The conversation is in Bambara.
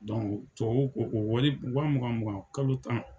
tubabuw ko ko wa mugan mugan kalo tan.